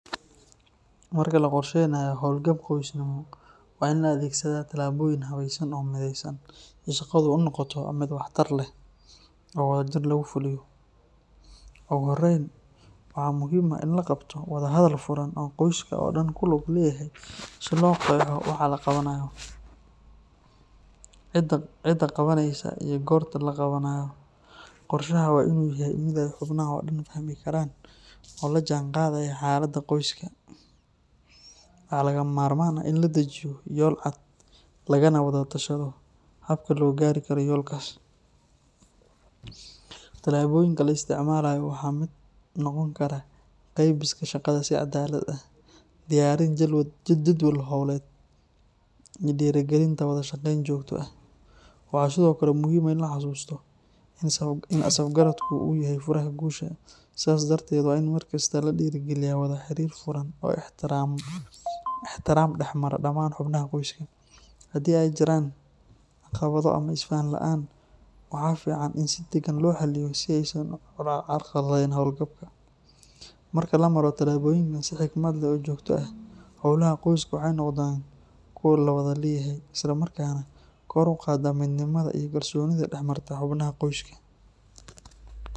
Marka laqorsheynayo holgab qoysnimo wa in laadhegsadha talaboyin habeysan oo midheysan ii shaqadha oo noqota mid waxtar leh oo wadha jir lagufuliyo, ugu horeyn waxa muhim ahh in laqabto wadha hadhal furan oo qoyska oo Dan kuluga leyaha si loogadho waxa laqabanayo, cida qabaneyso ii gotta laqabanayo, qorshaha wainu yahay mid ayy hubnaho Dan fahmi karan oo lajanqadhayo xalada qoyska, wa,a lagamamarman ahh in ladijiyo yol cad lagana wadha tashadho habka loogadho yolkas, talaboyinka laisticmalayo waxa kamid noqon kara qeybiska cadaladha si cadalad ah, diyarin jadwal holed ii dirigalinta wadha shaqenta jogta ahh, waxa sidhokale muhim ahh in lahasusto in asab garabka uu yahay furaha gusha sas darted wain markasta ladiri galiya wadha xirir furan oo ixtiram dahmara daman xumnaha qoyska, hadi ey jiran caqabadho ama isfahan laan waxa fican in si dagan lohaliyo si ey carqaladheyn holgabka, marka lamaro talaboyin nasuximad leh oo jogta eh, howlaha qoyska waxey noqdan kuwa lawadha leyahay islamarkana kor uqada mid nimadha ii kalsonidha daxmarta xubnaha qoyska.